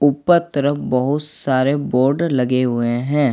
ऊपर तरफ बहुत सारे बोर्ड लगे हुए हैं।